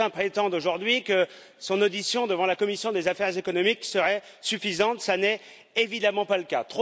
Certains prétendent aujourd'hui que son audition devant la commission des affaires économiques serait suffisante, ce n'est évidemment pas le cas.